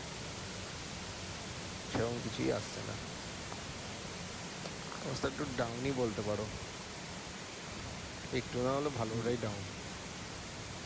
সেরম কিছুই আসছে না। অল্প একটু down ই বলতে পারো। একটু না হলেও ভালভাবেই down